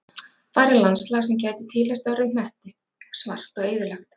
Þar er landslag sem gæti tilheyrt öðrum hnetti, svart og eyðilegt.